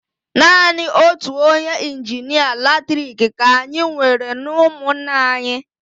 Naanị otu onye injinịa latriki ka anyị nwere n'ụmụnna anyị.